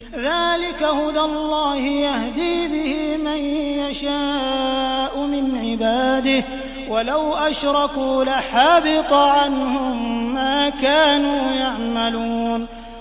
ذَٰلِكَ هُدَى اللَّهِ يَهْدِي بِهِ مَن يَشَاءُ مِنْ عِبَادِهِ ۚ وَلَوْ أَشْرَكُوا لَحَبِطَ عَنْهُم مَّا كَانُوا يَعْمَلُونَ